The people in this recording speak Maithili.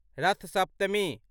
रथ सप्तमी